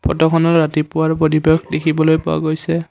ফটোখনত ৰাতিপুৱাৰ পৰিৱেশ দেখিবলৈ পোৱা গৈছে।